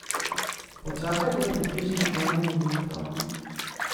Počakajte približno eno minuto.